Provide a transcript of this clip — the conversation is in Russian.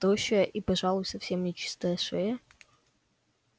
тощая и пожалуй совсем чистая шея